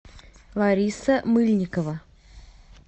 лариса мыльникова